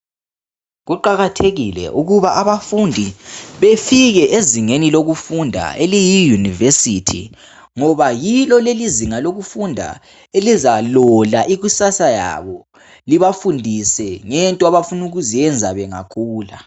Kuqakathekile ukuba abafundi bafike ezingeni laseyunivesithi, ngoba yilo lelizinga eliza lola ikusasa labo libafundise into abazafuna ukuzenza bangakhula.